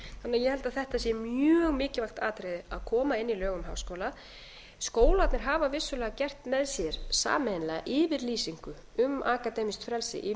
ég held því að þetta sé mjög mikilvægt atriði að koma inn í lög um háskóla skólarnir hafa vissulega gert með sér sameiginlega yfirlýsingu um akademískt frelsi í vinnubrögðum